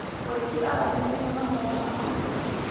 Mũrĩithi aromĩrĩria mahoya ma hamwe.